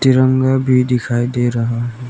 तिरंगा भी डिखाई दे रहा है।